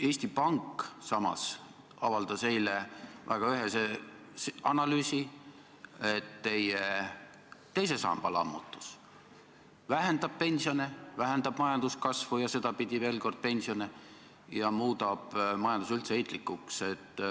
Eesti Pank avaldas eile väga ühese analüüsi, et teie teise samba lammutus vähendab pensione, vähendab majanduskasvu ja sedapidi veel kord pensione ning muudab majanduse üldse heitlikuks.